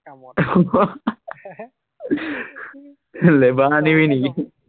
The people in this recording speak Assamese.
লেবাৰ আনিবি নেকি?